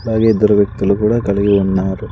అలాగే ఇద్దరు వ్యక్తులు కూడా కలిగి ఉన్నారు.